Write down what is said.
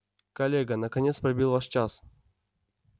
коллега наконец пробил ваш час